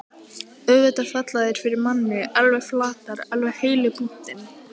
Auðvitað falla þær fyrir manni. alveg flatar. alveg heilu búntin!